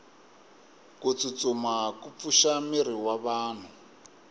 kutsutsuma kupfusha miri wavanhu